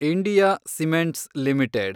India cements limited